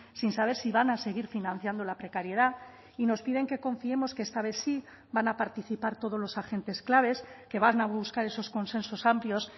sin saber si van a seguir financiando la precariedad y nos piden que confiemos que esta vez sí van a participar todos los agentes claves que van a buscar esos consensos amplios